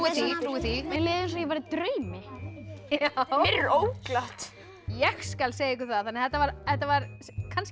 því mér leið eins og ég væri í draumi mér er óglatt ég skal segja ykkur það þannig að þetta var þetta var kannski